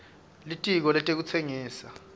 litiko letekutsengisa